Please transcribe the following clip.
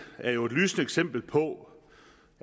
er jo et lysende eksempel på